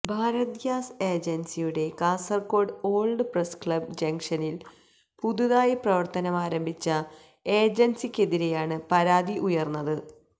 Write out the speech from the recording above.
Bharat gas ഏജന്സിയുടെ Kasaragod old press club ജങ്ഷനില് പുതുതായി പ്രവര്ത്തനമാരംഭിച്ച ഏജന്സിക്കെതിരെയാണ് പരാതി ഉയര്ന്നത്